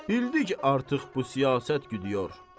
Bildik artıq bu siyasət qüdüyor.